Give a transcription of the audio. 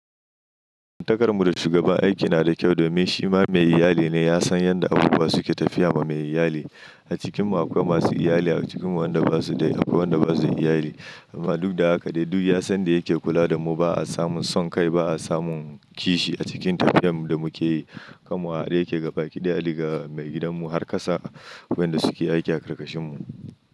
Takarmu da shugaban aiki na da kyau domin shi ma mai iyali ne. Ya san yanda abubuwa suke tafiya ma mai iyali. A cikinmu akwai masu iyali, a cikin wanda basu da akwai wanda basu da iyali. Amma duk da haka daidai ya san da yake kula da mu ba a samun son kai ba a samun kishi a cikin tafiyar mu da muke yi. Kan mu a haɗe yake gabaki ɗaya daga mai gidan mu har ƙasa wanda suke aiki a ƙarƙashin mu.